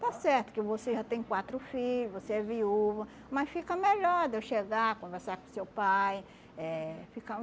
Está certo que você já tem quatro filho, você é viúva, mas fica melhor de eu chegar, conversar com seu pai, eh ficar um